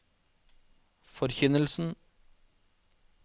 forkynnelsen